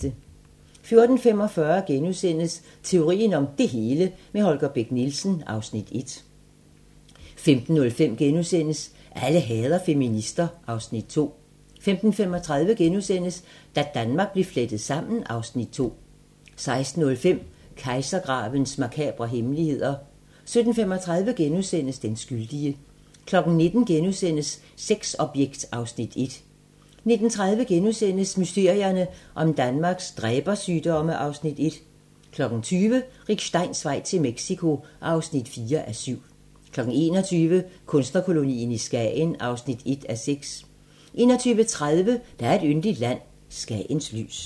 14:45: Teorien om det hele - med Holger Bech Nielsen (Afs. 1)* 15:05: Alle hader feminister (Afs. 2)* 15:35: Da Danmark blev flettet sammen (Afs. 2)* 16:05: Kejsergravens makabre hemmeligheder 17:35: Den skyldige * 19:00: Sexobjekt (Afs. 1)* 19:30: Mysterierne om Danmarks dræbersygdomme (Afs. 1)* 20:00: Rick Steins vej til Mexico (4:7) 21:00: Kunstnerkolonien i Skagen (1:6) 21:30: Der er et yndigt land - Skagens lys